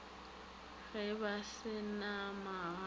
ge ba se na magae